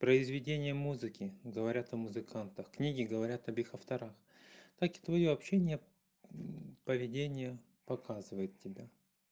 произведение музыки говорят о музыкантах книги говорят об их авторах так и твоё общение поведение показывает тебя